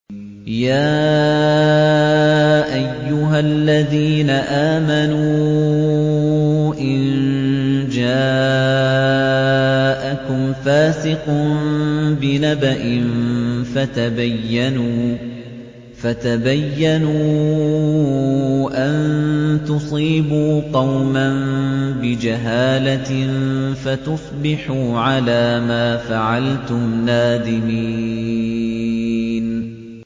يَا أَيُّهَا الَّذِينَ آمَنُوا إِن جَاءَكُمْ فَاسِقٌ بِنَبَإٍ فَتَبَيَّنُوا أَن تُصِيبُوا قَوْمًا بِجَهَالَةٍ فَتُصْبِحُوا عَلَىٰ مَا فَعَلْتُمْ نَادِمِينَ